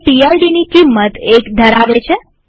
તે PIDની કિંમત 1 ધરાવે છે